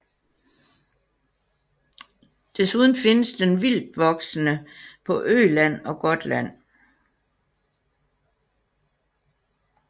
Desuden findes den vildtvoksende på Öland og Gotland